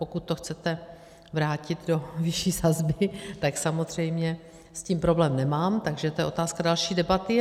Pokud to chcete vrátit do vyšší sazby, tak samozřejmě s tím problém nemám, takže to je otázka další debaty.